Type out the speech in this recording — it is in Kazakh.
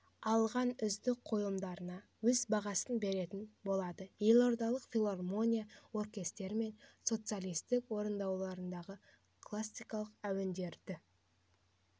алған үздік қойылымдарына өз бағасын беретін болады елордалық филармония оркестрлері мен солистерінің орындауындағы классикалық әуендерді